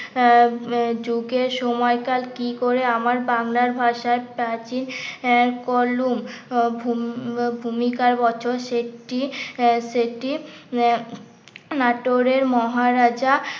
আহ যুগের সময়কার কি করে আমার বাংলার ভাষার প্রাচীন আহ করলুম ভূম ভূমিকার সেটি সেটি নাটোরের মহারাজা